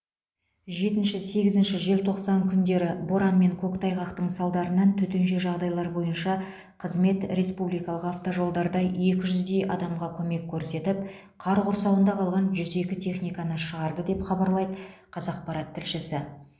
жетінші сегізінші желтоқсан күндері боран мен көктайғақтың салдарынан төтенше жайдайлар бойынша қызмет республикалық автожолдарда екі жүздей адамға көмек көрсетіп қар құрсауында қалған жүз екі техниканы шығарды деп хабарлайды қазақпарат тілшісі